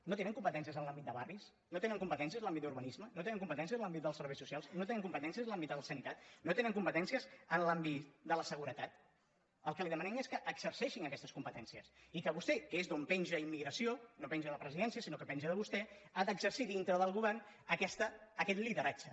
no tenen competències en l’àmbit de barris no tenen competències en l’àmbit d’urbanisme no tenen competències en l’àmbit dels serveis socials no tenen competències en l’àmbit de la sanitat no tenen competències en l’àmbit de la seguretat el que li demanem és que exerceixin aquestes competències i que vostè que és d’on penja immigració no penja de presidència sinó que penja de vostè ha d’exercir dintre del govern aquest lideratge